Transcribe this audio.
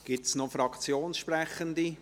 Gibt es noch Fraktionssprechende?